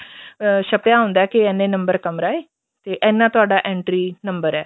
ਅਹ ਛੱਪਿਆ ਹੁੰਦਾ ਕੇ ਇੰਨੇ ਨੰਬਰ ਕਮਰਾ ਏ ਤੇ ਇੰਨਾ ਤੁਹਾਡਾ entry ਨੰਬਰ ਏ